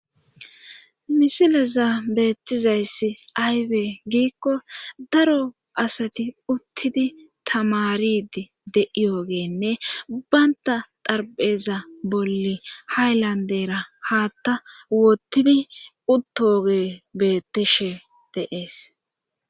Misileza beettizayssi aywee giikko daro asati uttidi tamaridi de7iyogeenne baynta darpheza bolle haylandera haatta wottidi uttoge bettishe de'ees